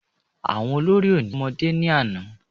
Àwọn olórí oní jẹ́ ọmọdé ní àná